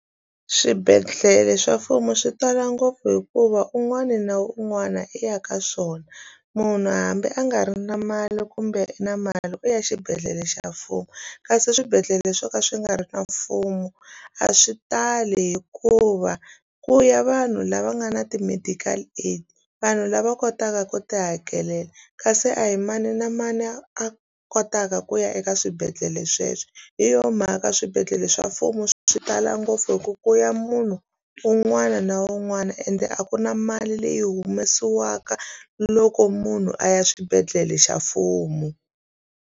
Swibedhlele swa mfumo swi tala ngopfu hikuva un'wana na un'wana i ya ka swona munhu hambi a nga ri na mali kumbe na mali u ya xibedhlele xa mfumo kasi swibedhlele swo ka swi nga ri na mfumo a swi tali hikuva ku ya vanhu lava nga na ti medical aid vanhu lava kotaka ku ti hakelela kasi a hi mani na mani a kotaka ku ya eka swibedhlele sweswo hi yo mhaka swibedhlele ndlela swa mfumo swi tala ngopfu hi ku ku ya munhu un'wana na un'wana ende a ku na mali leyi humesiwaka loko munhu a ya xibedhlele xa mfumo.